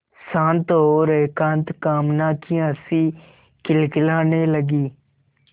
शांत और एकांत कामना की हँसी खिलखिलाने लगी